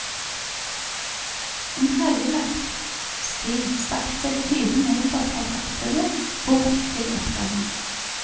En hellelagt sti strakte seg tyve meter fra fortauet bort til oppgangen.